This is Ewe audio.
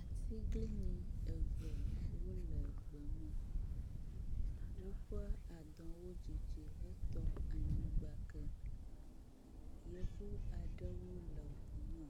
Atiglinyi eve wo le gbe me. Woƒe adɔwo dzidzi hetɔ anyigba ke. Yevu aɖewo le ŋu me